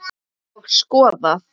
Og skoðað.